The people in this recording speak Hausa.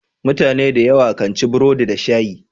Mutune da yawa kan ci burodi da shayi.